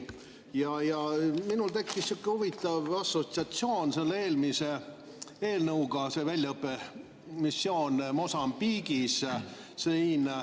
Minul tekkis sihuke huvitav assotsiatsioon eelmise eelnõuga, väljaõppemissiooniga Mosambiigis.